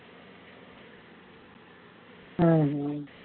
ஹம்